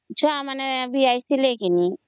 ଛୁଆମାନେ ବି ଆସିଥିଲେ ନି